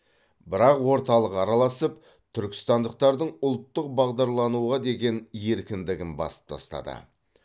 бірақ орталық араласып түркістандықтардың ұлттық бағдарлануға деген еркіндігін басып тастады